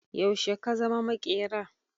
Yaushe ka zama maƙera?